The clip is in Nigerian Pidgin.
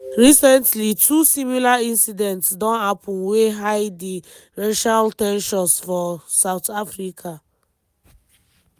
recently two similar incidents don happen wey high di racial ten sions for south africa.